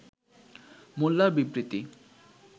মোল্লার বিবৃতি